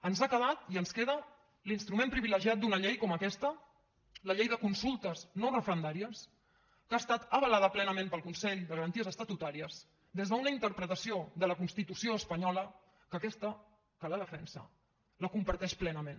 ens ha quedat i ens queda l’instrument privilegiat d’una llei com aquesta la llei de consultes no referendàries que ha estat avalada plenament pel consell de garanties estatutàries des d’una interpretació de la constitució espanyola que aquesta que la defensa la comparteix plenament